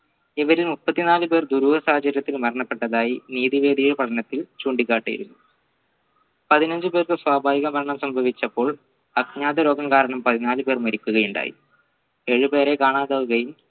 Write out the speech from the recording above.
ഇവരിൽ മുപ്പത്തി നാല് പേർ ദുരൂഹ സാഹചര്യത്തിൽ മരണപ്പെട്ടതായി നീതി വേദിയെ പഠനത്തിൽ ചൂണ്ടിക്കാട്ടി പതിനഞ്ച പേർക്ക് സ്വാഭാവിക മരണം സംഭവിച്ചപ്പോൾ അഗ്നാതരോഗം കാരണം പതിനാല് പേർ മരിക്കുകയുണ്ടായി ഏഴു പേര് കാണാതാവുകയും